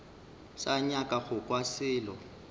sa nyaka go kwa selo